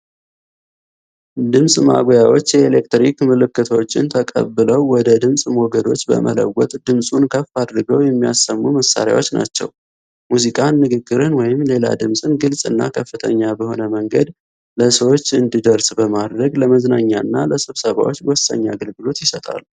ድምፅ ማጉያዎች የኤሌክትሪክ ምልክቶችን ተቀብለው ወደ ድምፅ ሞገዶች በመለወጥ ድምፁን ከፍ አድርገው የሚያሰሙ መሳሪያዎች ናቸው። ሙዚቃን፣ ንግግርን ወይም ሌላ ድምፅን ግልጽ እና ከፍተኛ በሆነ መንገድ ለሰዎች እንዲደርስ በማድረግ፣ ለመዝናኛና ለስብሰባዎች ወሳኝ አገልግሎት ይሰጣሉ።